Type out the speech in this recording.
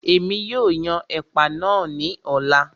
Èmi yóò yan ẹ̀pà náà ní ọ̀la